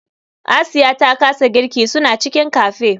Asiya ta kasa girki suna cikin cafe.